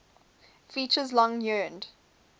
features long yearned